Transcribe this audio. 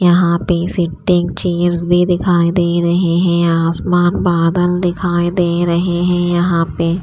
यहा पे दिखाई दे रहे है आसमान बादल दिखाई दे रहे है यहा पे--